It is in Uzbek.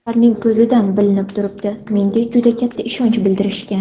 Ularning ko‘zidan bilinib turibdi, menga juda katta ishonch bildirishgan.